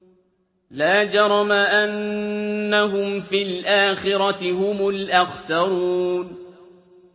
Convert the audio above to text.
لَا جَرَمَ أَنَّهُمْ فِي الْآخِرَةِ هُمُ الْأَخْسَرُونَ